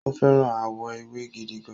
O fẹ́ràn àwọ̀ ewé gidigan